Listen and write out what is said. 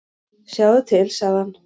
"""Sjáðu til, sagði hann."""